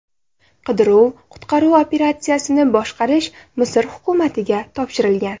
Qidiruv-qutqaruv operatsiyasini boshqarish Misr hukumatiga topshirilgan.